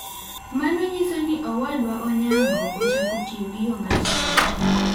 Mano nyiso ni Owadwa Onyango ochak tiyo gi yo machielo